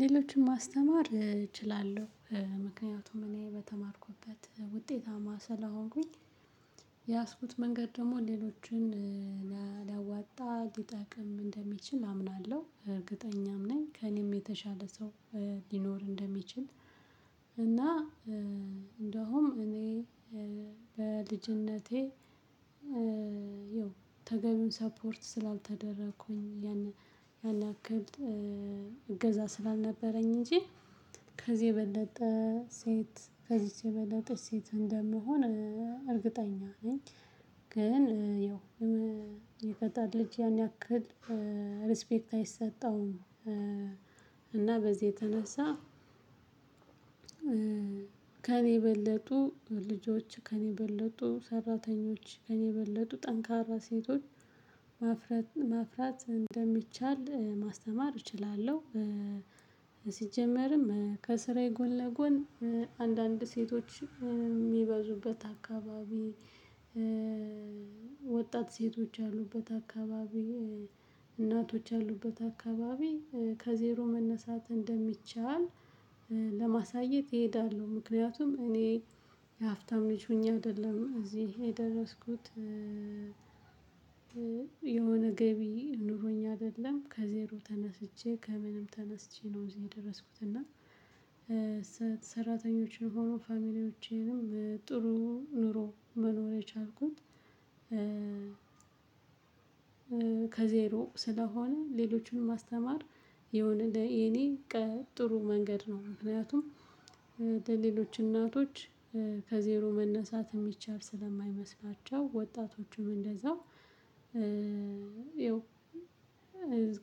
ሌሎችን ማስተማር እችላለሁ ምክንያቱም እኔ በተማርኩበት ውጤታማ ስለሆንኩኝ። የያዝኩት መንገድ ደግሞ ሌሎችን ሊያዋጣ ሊጠቅም እንደሚችል አምናለሁ እርግጠኛም ነኝ ከእኔም የተሻለ ሰው ሊኖር እንደሚችል። እና እንደውም እኔ በልጅነቴ ያው ተገቢውን ሰፖርት ስላልተደረኩኝ ያን ያን ያክል እገዛ ስላልነበረኝ እንጂ ከዚህ የበለጠ ሴት ከዚህ የበለጠ ሴት እንደምሆን ነኝ። ግን ያው የሚፈጥን ልጅ ያን ያክል ሪስፔክት አይሰጠውም እና በዚህ የተነሳ። ከእኔ የበለጡ ልጆች ከእኔ የበለጡ ሰራተኞች ከእኔ የበለጡ ጠንካራ ሴቶች ማፍረት ማፍራት እንደሚቻል ማስተማር እችላለሁ። ሲጀመርም ከስራዬ ጎን ለጎን አንዳንድ ሴቶች የሚበዙበት አካባቢ ወጣት ሴቶች ያሉበት አካባቢ እናቶች ያሉበት አካባቢ ከዜሮ መነሳት እንደሚቻል ለማሳየት እሄዳለሁ። ምክንያቱም እኔ የሀብታም ልጅ ሆኜ አይደለም እዚህ የደረስኩት። የሆነ ገቢ ኑሮኝ አይደለም ከዜሮ ተነስቼ ከምንም ተነስቼ ነው እዚህ የደረስኩት። እና ሰራተኞችም ሆኑ ፋሚሊዎቼንም ጥሩ ኑሮ መኖር የቻልኩት። ከዜሮ ስለሆነ ሌሎቹንም ማስተማር የሆነ ለኔ ጥሩ መንገድ ነው። ምክንያቱም ለሌሎች እናቶች ከዜሮ መነሳት የሚቻል ስለማይመስላቸው ወጣቶቹም እንደዛው። ይኸው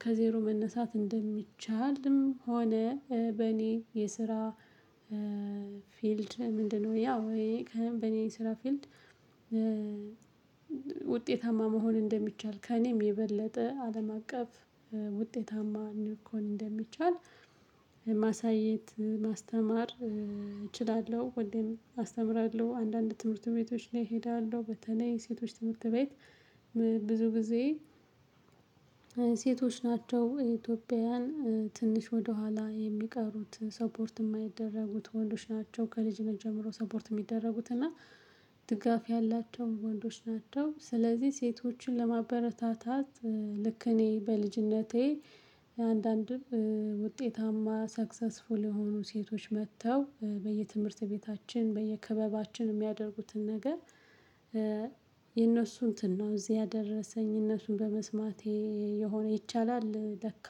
ከዜሮ መነሳት እንደሚቻልም ሆነ በኔ የስራ ፊልድ ምንድነው? ያው በኔ የስራ ፊልድ ውጤታማ መሆን እንደሚቻል ከእኔም የበለጠ አለም አቀፍ ውጤታማ ሊኮን እንደሚቻል ማሳየት ማስተማር እችላለሁ። ወይም አስተምራለሁ አንዳንድ ትምህርት ቤቶች ላይ እሄዳለሁ በተለይ ሴቶች ትምህርት ቤት ብዙ ጊዜ። ሴቶች ናቸው የኢትዮጵያውያን ትንሽ ወደኋላ የሚቀሩት ሰፖርት የማይደረጉት ወንዶች ናቸው ከልጅነት ጀምሮ ሰፖርት የሚደረጉት እና ድጋፍ ያላቸው ወንዶች ናቸው። ስለዚህ ሴቶችን ለማበረታታት ልክ እኔ በልጅነቴ አንዳንድም ውጤታማ ሰክሰስፉል የሆኑ ሴቶች መጥተው በየትምህርት ቤታችን በየክበባችን የሚያደርጉትን ነገር። የእነሱን እንትን ነው እዚህ ያደረሰኝ እነሱን በመስማቴ የሆነ ይቻላል ለካ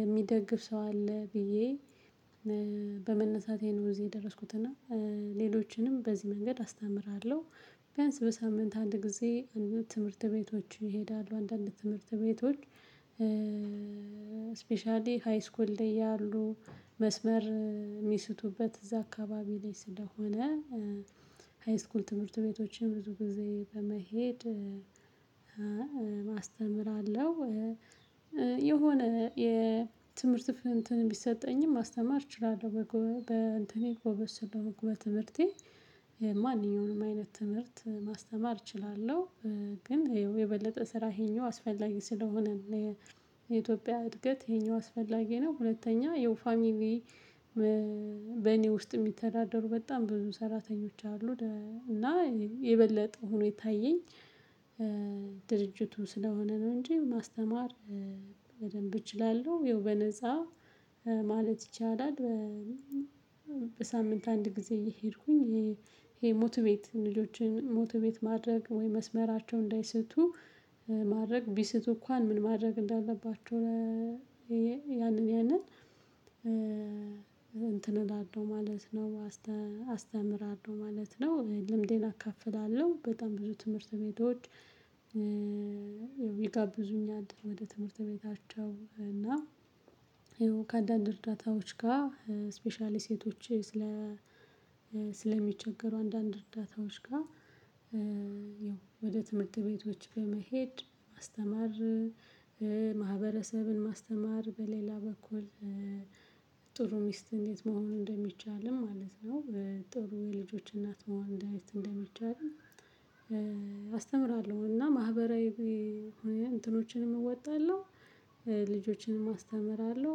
የሚደግፍ ሰው አለ ብዬ በመነሳቴ ነው እዚህ የደረስኩትና። ሌሎችንም በዚህ መንገድ አስተምራለሁ። ቢያንስ በሳምንት አንድ ጊዜ አንዳንድ ትምህርት ቤቶች ይሄዳሉ አንዳንድ ትምህርት ቤቶች። ስፔሻሊ ሃይስኩል ላይ ያሉ መስመር የሚስቱበት እዛ አካባቢ ላይ ስለሆነ ሃይስኩል ትምህርት ቤቶችን ብዙ ጊዜ በመሄድ አስተምራለሁ። የሆነ የትምህርት ቢሰጠኝም ማስተማር እችላለሁ በጎበዝ ጎበዝ ስለሆንኩ በትምህርቴ ማንኛውንም አይነት ትምህርት ማስተማር እችላለሁ። ግን ይኸው የበለጠ ስራ ይሄኛው አስፈላጊ ስለሆነ ለኢትዮጵያ እድገት ይሄኛው አስፈላጊ ነው። ሁለተኛ የው ፋሚሊ በኔ ውስጥ የሚተዳደሩ በጣም ብዙ ሰራተኞች አሉ እና የበለጠ ሆኖ የታየኝ። ድርጅቱ ስለሆነ ነው እንጂ ማስተማር በደንብ እችላለሁ። ያው በነፃ ማለት ይቻላል። በሳምንት አንድ ጊዜ እየሄድኩኝ ይሄ ሞቱቤት ልጆችን ሞቱቤት ማድረግ ወይ መስመራቸው እንዳይስቱ ማድረግ ቢስቱ እንኳን ምን ማድረግ እንዳለባቸው ያንን ያንን እንትን እላለሁ ማለት ነው። አስተምራል ነው ማለት ነው ልምዴን አካፍላለሁ በጣም ብዙ ትምህርት ቤቶች። ይጋብዙኛል ወደ ትምህርት ቤታቸው እና ይሄው ከአንዳንድ እርዳታዎች ጋር ስፔሻሊ ሴቶች ስለ ስለሚቸገሩ አንዳንድ እርዳታዎች ጋር። ወደ ትምህርት ቤቶች በመሄድ ማስተማር። ማህበረሰብን ማስተማር በሌላ በኩል ጥሩ ሚስት እንዴት መሆን እንደሚቻልም ማለት ነው ጥሩ የልጆች እናት መሆን እንዴት እንደሚቻል። አስተምራለሁ እና ማህበራዊ እንትኖችንም እወጣለሁ። ልጆችንም አስተምራለሁ።